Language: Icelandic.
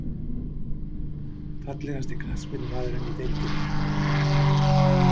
Fallegasti knattspyrnumaðurinn í deildinni???